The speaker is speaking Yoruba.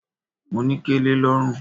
Mo ní kẹlẹ lọ́rùn.